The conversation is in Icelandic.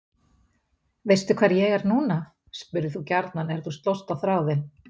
Veistu hvar ég er núna? spurðir þú gjarnan er þú slóst á þráðinn.